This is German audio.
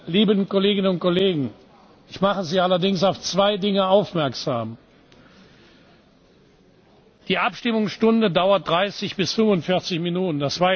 Liebe Kolleginnen und Kollegen! Ich mache Sie allerdings auf zwei Dinge aufmerksam Die Abstimmungsstunde dauert 30 bis 45 Minuten.